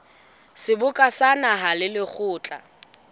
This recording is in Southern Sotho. seboka sa naha le lekgotla